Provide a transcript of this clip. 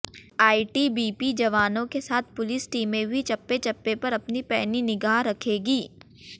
ITBP जवानों के साथ पुलिस टीमें भी चप्पे चप्पे पर अपनी पैनी निगाह रखेंगी